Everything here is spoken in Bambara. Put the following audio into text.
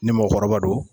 Ni mɔgɔkɔrɔba don